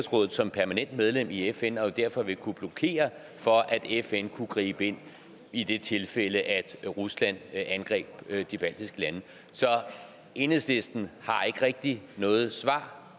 som permanent medlem i fn og jo derfor vil kunne blokere for at fn kunne gribe ind i det tilfælde at rusland angreb de baltiske lande så enhedslisten har ikke rigtig noget svar